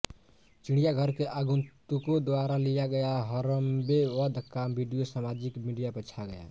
चिड़ियाघर के आगंतुको द्वारा लिया गया हरम्बे वध का वीडियो सामाजिक मीडिया पर छा गया